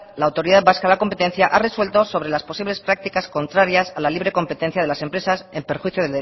la autoridad vasca a la competencia ha resuelto sobre las posibles prácticas contrarias a la libre competencia de las empresas en perjuicio